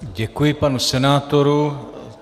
Děkuji panu senátorovi.